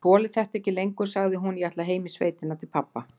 Ég þoli þetta ekki lengur, sagði hún,- ég ætla heim í sveitina til pabba.